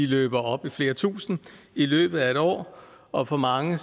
løber op i flere tusinde i løbet af et år og for mange